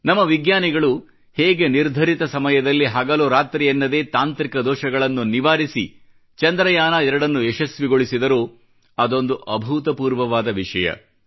ನಮ್ಮ ವಿಜ್ಞಾನಿಗಳು ಹೇಗೆ ನಿರ್ಧರಿತ ಸಮಯದಲ್ಲಿ ಹಗಲು ರಾತ್ರಿಯೆನ್ನದೇ ತಾಂತ್ರಿಕ ದೋಷಗಳನ್ನು ನಿವಾರಿಸಿ ಚಂದ್ರಯಾನ 2 ನ್ನು ಯಶಸ್ವಿಗೊಳಿಸಿದರೋ ಅದೊಂದು ಅಭೂತಪೂರ್ವವಾದ ವಿಷಯ